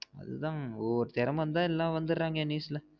அதான் ஒவ்வோர் திறமை இருந்த எல்லாம் வந்திருரங்க news ல